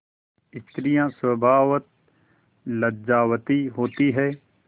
स्त्रियॉँ स्वभावतः लज्जावती होती हैं